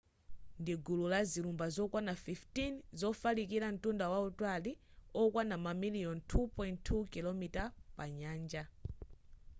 ndi gulu la zilumba zokwana 15 zofalikira mtunda wautali okwana mamaliyoni 2.2 km2 pa nyanja